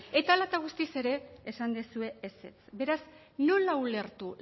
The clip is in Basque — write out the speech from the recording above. egin genuen amaitu mesedez eta hala eta guztiz ere esan duzue ezetz beraz nola ulertu